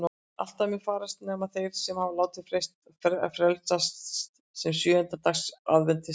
Allir munu farast nema þeir sem hafa látið frelsast sem sjöunda dags aðventistar.